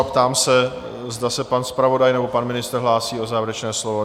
A ptám se, zda se pan zpravodaj nebo pan ministr hlásí o závěrečné slovo?